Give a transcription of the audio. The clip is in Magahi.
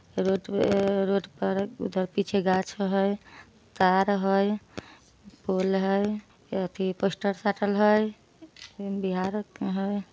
रोड पे ऐ रोड पर उधर पीछे गाछ हई तार हई पोल हई एथी पोस्टर साटल हई। ई बिहार के हई।